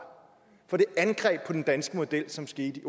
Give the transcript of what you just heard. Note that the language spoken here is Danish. for det angreb på den danske model som skete i